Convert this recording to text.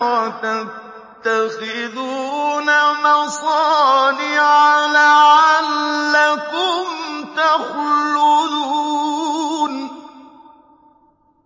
وَتَتَّخِذُونَ مَصَانِعَ لَعَلَّكُمْ تَخْلُدُونَ